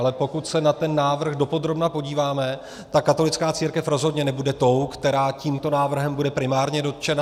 Ale pokud se na ten návrh dopodrobna podíváme, tak katolická církev rozhodně nebude tou, která tímto návrhem bude primárně dotčena.